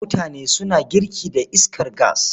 Mutane suna girki da iskar gas.